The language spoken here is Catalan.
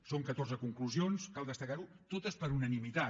són catorze conclusions cal destacar ho totes per unanimitat